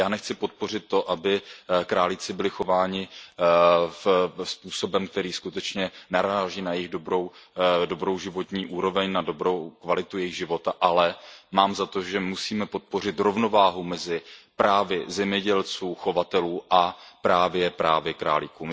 Já nechci podpořit to, aby králíci byli chováni způsobem, který skutečně naráží na jejich dobrou životní úroveň, na dobrou kvalitu jejich života, ale mám za to, že musíme podpořit rovnováhu mezi právy zemědělců, chovatelů a právě králíků.